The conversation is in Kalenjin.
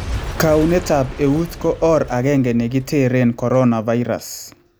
Kaunetap ewuut ko or agenge nikitereen coronavirus